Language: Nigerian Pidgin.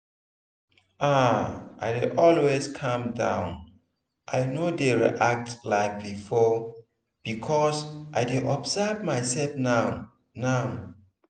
ah i dey always calm down i no dey react like before because i dey observe my self now. now.